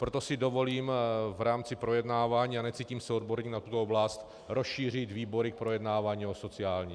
Proto si dovolím v rámci projednávání, a necítím se odborníkem na tuto oblast, rozšířit výbory k projednávání o sociální.